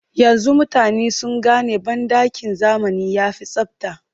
Yanzu mutane sun gane banɗakin zamani ya fi tsabta